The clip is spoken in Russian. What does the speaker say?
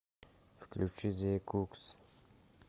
включи зэ кукс